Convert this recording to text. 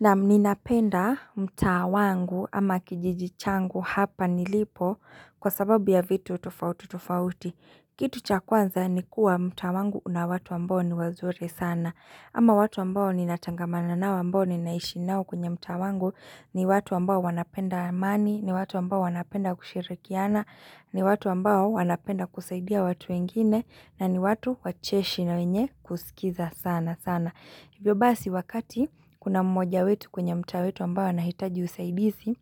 Naam, ninapenda mtaa wangu ama kijiji changu hapa nilipo kwa sababu ya vitu tofauti tofauti. Kitu cha kwanza ni kuwa mtaa wangu una watu ambao ni wazuri sana. Ama watu ambao ninatangamana nao ambao ninaishi nao kwenye mtaa wangu, ni watu ambao wanapenda amani, ni watu ambao wanapenda kushirikiana, ni watu ambao wanapenda kusaidia watu wengine, na ni watu wacheshi na wenye kusikiza sana sana. Hivyo basi wakati kuna mmoja wetu kwenye mtaa wetu ambao anahitaji usaidizi,